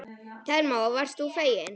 Telma: Og varst þú feginn?